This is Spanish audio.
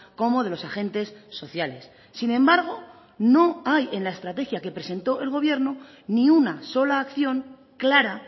como de los agentes sociales sin embargo no hay en la estrategia que presentó el gobierno ni una sola acción clara